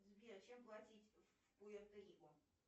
сбер чем платить в пуэрто рико